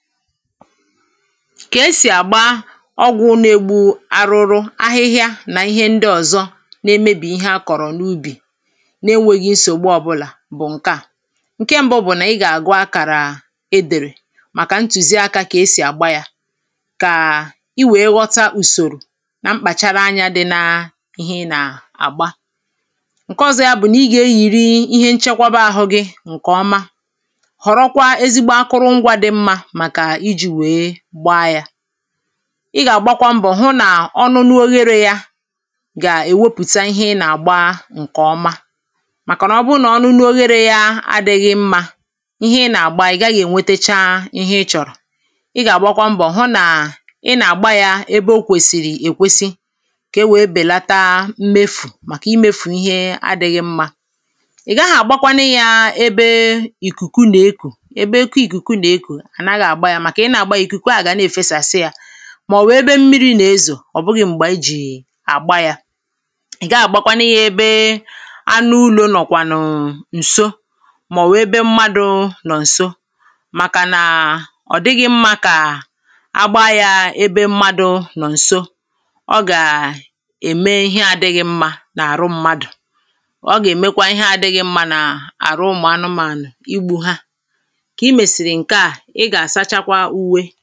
ka esì àgba ọgwụ̇ na-egbu arụrụ, ahịhịa nà ihe ndị ọ̀zọ na-emebì ihe a kọ̀rọ̀ n’ubì na-enwėghi nsògbu ọbụlà bụ̀ ǹke à ǹke ṁbụ bụ̀nà ị gà-àgụ akàrà e dèrè màkà ntùzi akȧ kà esì àgba yȧ kà i wèe họta ùsòrò na mkpàchara anyȧ dị n’ihe nà-àgba ǹke ọ̀zọ ya bụ̀ nà ị gà-eyìri ihe nchekwaba ahụ̇ gị̇ ǹkè ọma ị gà-àgbakwa mbọ̀ hụ nà ọnụnụ oherė yȧ gà-èwepùta ihe ị nà-àgba ǹkè ọma màkà nà ọ bụrụ nà ọnụnụ oherė ya adị̇ghị̇ mmȧ ihe ị nà-àgba ị̀ gaghị̇ ènwetacha ihe ị chọ̀rọ̀ ị gà-àgbakwa mbọ̀ hụ nà ị nà-àgba yȧ ebe o kwèsìrì èkwesi kà e wèe bèlataa mmefù màkà imėfù ihe adị̇ghị̇ mmȧ ị̀ gaghị̇ àgbakwanụ yȧ ebe ìkùkù nà-ekù ebe eke ìkùkù nà-ekù màọ̀wụ̀ ebe mmiri nà-ezò ọ̀ bụghi̇ m̀gbè àgba ya ị̀ gaa àgbakwanụ ihe ebe anụ ulọ̀ nọ̀kwànụ̀ ǹso màọ̀wụ̀ ebe mmadụ̇ nọ̀ ǹso màkànà ọ̀ dịghị̇ mmȧ kà agba ya ebe mmadụ̇ nọ̀ ǹso ọ gà ème ihe adịghị̇ mmȧ n’àrụ mmadụ̀ ọ gà èmekwa ihe adịghị̇ mmȧ nà àrụ ụmụ̀ anụmȧnụ̀, igbu̇ ha ǹkẹ̀ mesiri nka, iga asachakwa.